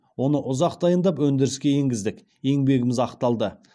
оны ұзақ дайындап өндіріске енгіздік еңбегіміз ақталды